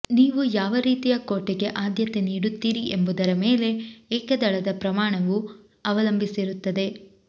ನೀವು ಯಾವ ರೀತಿಯ ಕೋಟೆಗೆ ಆದ್ಯತೆ ನೀಡುತ್ತೀರಿ ಎಂಬುದರ ಮೇಲೆ ಏಕದಳದ ಪ್ರಮಾಣವು ಅವಲಂಬಿಸಿರುತ್ತದೆ